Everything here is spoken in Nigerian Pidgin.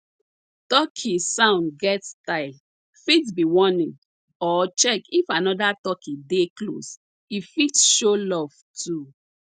turkey sound get style fit be warning or check if anoda turkey dey close e fit show love too